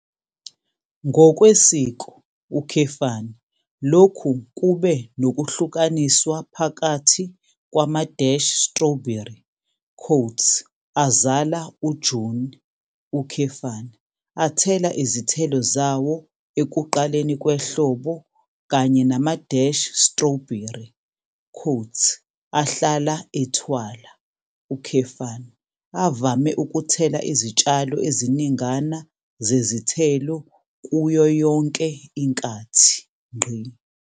Ngokwesiko, lokhu kube nokuhlukaniswa phakathi kwama-strawberry "azala uJuni", athela izithelo zawo ekuqaleni kwehlobo kanye nama-strawberry "ahlala ethwala", avame ukuthela izitshalo eziningana zezithelo kuyo yonke inkathi.